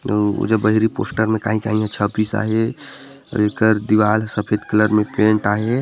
ओ पोस्टर मे काही काही छपीस आहे अऊ एकर दीवार हा सफेद कलर म पोताए हे।